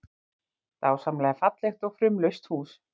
Dásamlega fallegt og fumlaust hús